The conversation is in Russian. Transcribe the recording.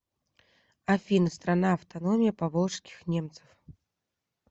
афина страна автономия поволжских немцев